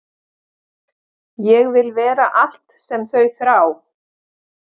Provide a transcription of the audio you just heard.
Ég vil vera allt sem þau þrá.